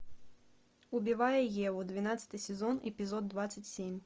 убивая еву двенадцатый сезон эпизод двадцать семь